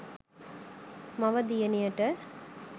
මව දියණියට